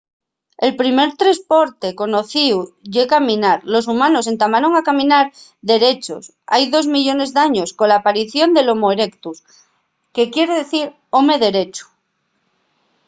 el primer tresporte conocíu ye caminar. los humanos entamaron a caminar derechos hai dos millones d’años cola aparición del homo erectus que quier dicir home derechu